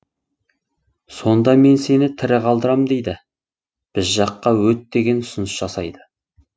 сонда мен сені тірі қалдырам дейді біз жаққа өт деген ұсыныс жасайды